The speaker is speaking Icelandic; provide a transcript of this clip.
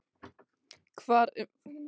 Hvar eru efnilegu leikmennirnir?